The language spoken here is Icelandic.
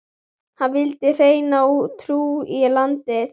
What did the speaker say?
Hann vildi hreina trú í landið.